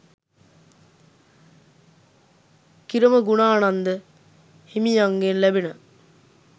කිරමගුණානන්ද හිමියන්ගෙන් ලැබෙන